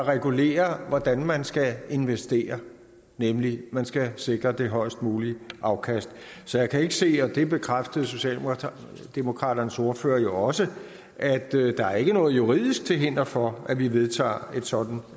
regulerer hvordan man skal investere nemlig at man skal sikre det højest mulige afkast så jeg kan ikke se og det bekræftede socialdemokraternes ordfører jo også at der er noget juridisk til hinder for at vi vedtager et sådant